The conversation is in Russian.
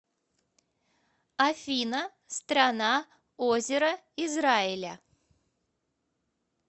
афина страна озера израиля